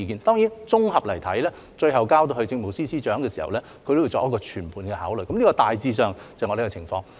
當然，綜合來看，最後交到政務司司長的時候，他會作全盤考慮，大致上是這個情況。